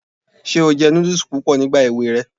Ṣé o jẹ núdùs púpọ̀ nígbà èwe rẹ?